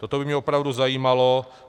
Toto by mě opravdu zajímalo.